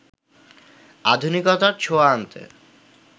আধুনিকতার ছোঁয়া আনতে